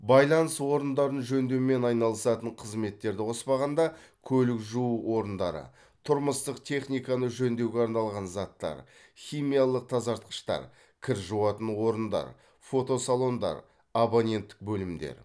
байланыс орындарын жөндеумен айналысатын қызметтерді қоспағанда көлік жуу орындары тұрмыстық техниканы жөндеуге арналған заттар химиялық тазартқыштар кір жуатын орындар фотосалондар абоненттік бөлімдер